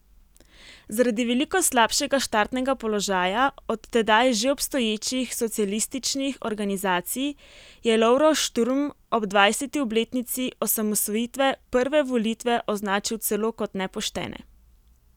Zaradi veliko slabšega štartnega položaja od tedaj že obstoječih socialističnih organizacij je Lovro Šturm ob dvajseti obletnici osamosvojitve prve volitve označil celo kot nepoštene.